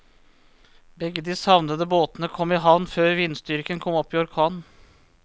Begge de savnede båtene kom i havn før vindstyrken kom opp i orkan.